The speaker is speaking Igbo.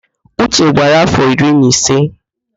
Uche gbara áfọ̀ iri na ise.